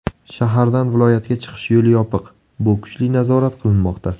Shahardan viloyatga chiqish yo‘li yopiq, bu kuchli nazorat qilinmoqda.